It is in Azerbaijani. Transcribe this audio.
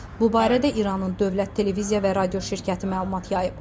Bu barədə İranın dövlət televiziya və radio şirkəti məlumat yayıb.